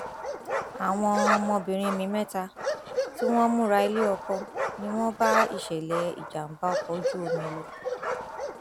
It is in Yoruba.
àwọn ọmọbìnrin mi mẹta tí wọn ń múra iléọkọ ni wọn bá ìṣẹlẹ ìjàgbá ọkọ ojú omi lọ